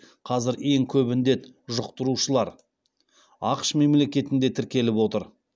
қазір ең көп індет жұқтырушылар ақш мемлекетінде тіркеліп отыр